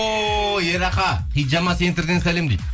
о ерақа хиджама центрден сәлем дейді